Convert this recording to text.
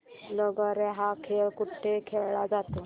लगोर्या हा खेळ कुठे खेळला जातो